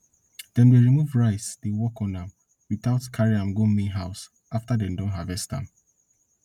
dem dey remove rice dey work on am without carry am go main house after dem don harvest am